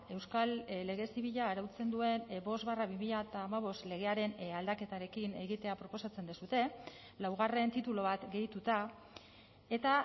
euskal lege zibila arautzen duen bost barra bi mila hamabost legearen aldaketarekin egitea proposatzen duzue laugarren titulu bat gehituta eta